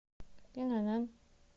инн